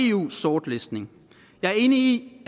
eu sortlistning jeg er enig